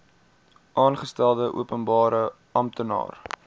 aangestelde openbare amptenaar